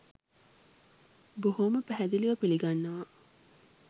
බොහොම පැහැදිලිව පිළිගන්නවා.